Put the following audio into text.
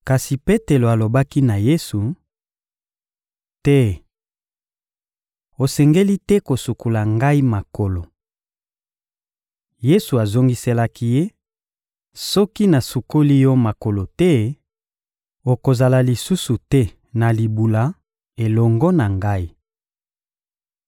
Kasi Petelo alobaki na Yesu: — Te! Osengeli te kosukola ngai makolo! Yesu azongiselaki ye: — Soki nasukoli yo makolo te, okozala lisusu te na libula elongo na Ngai.